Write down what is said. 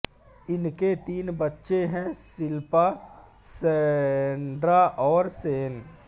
उनके तीन बच्चे हैं शिल्पा सैंड्रा और शेन